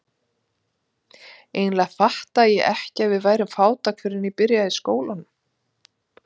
Eiginlega fattaði ég ekki að við værum fátæk fyrr en ég byrjaði í skólanum.